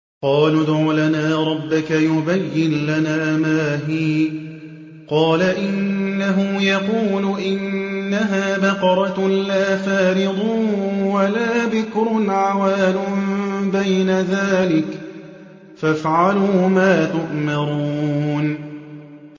قَالُوا ادْعُ لَنَا رَبَّكَ يُبَيِّن لَّنَا مَا هِيَ ۚ قَالَ إِنَّهُ يَقُولُ إِنَّهَا بَقَرَةٌ لَّا فَارِضٌ وَلَا بِكْرٌ عَوَانٌ بَيْنَ ذَٰلِكَ ۖ فَافْعَلُوا مَا تُؤْمَرُونَ